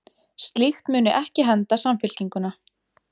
Slíkt muni ekki henda Samfylkinguna